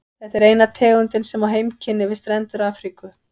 Þetta er eina tegundin sem á heimkynni við strendur Afríku.